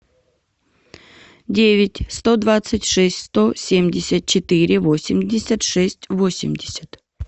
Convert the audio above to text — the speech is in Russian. девять сто двадцать шесть сто семьдесят четыре восемьдесят шесть восемьдесят